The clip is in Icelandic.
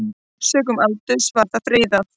Sökum aldurs var það friðað.